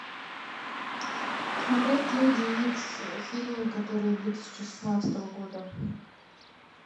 смотреть люди икс фильм который две тысячи шестнадцатого года